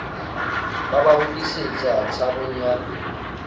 ba ba hodisetsa tshabong ya